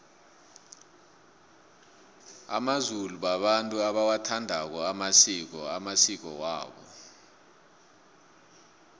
amazulu babantu abawathandako amasiko amasiko wabo